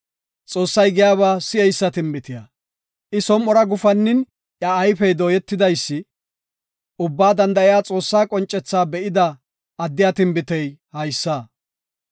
Xoossay giyaba si7eysa tinbitiya; I som7ora gufannin, iya ayfey dooyetidaysi; Ubbaa danda7iya Xoossaa qoncethaa be7ida addiya tinbitey haysa.